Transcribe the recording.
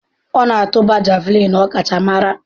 Ọ na-atụba Javulinị ọkachamara.